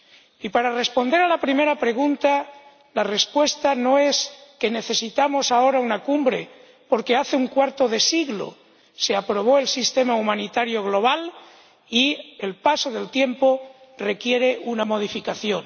Y para responder a la primera pregunta, la respuesta no es que necesitamos ahora una cumbre porque hace un cuarto de siglo que se aprobó el sistema humanitario global y el paso del tiempo requiere una modificación.